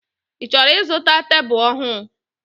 I chọrọ izụta tebụl ọhụụ?